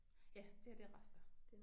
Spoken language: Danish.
Ja det her det er rester